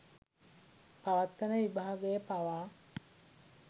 පවත්වන විභාගය පවා